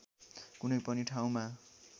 कुनै पनि ठाउँमा